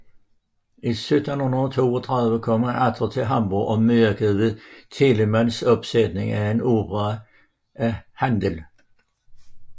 I 1732 kom han atter til Hamborg og medvirkede ved Telemanns opsætning af en opera af Händel